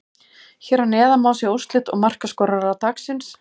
Hér að neðan má sjá úrslit og markaskorara dagsins: